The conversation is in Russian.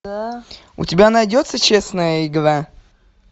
у тебя найдется честная игра